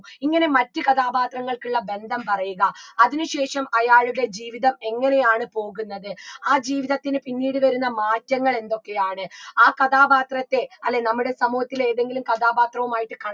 ഇങ്ങനെ മറ്റു കഥാപാത്രങ്ങൾക്കുള്ള ബന്ധം പറയുക അതിന് ശേഷം അയാളുടെ ജീവിതം എങ്ങനെയാണ് പോകുന്നത് ആ ജീവിതത്തിന് പിന്നീട് വരുന്ന മാറ്റങ്ങൾ എന്തൊക്കെയാണ് ആ കഥാപാത്രത്തെ അല്ലേ നമ്മുടെ സമൂഹത്തിലെ ഏതെങ്കിലും കഥാപാത്രവുമായിട്ട്